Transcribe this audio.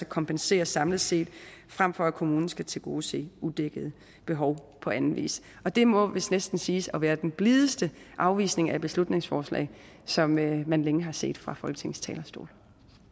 kompenserer samlet set frem for at kommunen skal tilgodese udækkede behov på anden vis og det må vist næsten siges at være den blideste afvisning af et beslutningsforslag som man længe har set fra folketingets talerstol